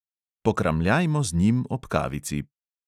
Pokramljajmo z njim ob kavici!